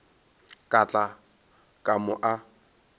ka tla ka mo a